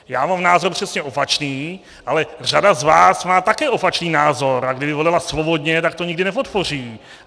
Já mám názor přesně opačný, ale řada z vás má také opačný názor, a kdyby volila svobodně, tak to nikdy nepodpoří.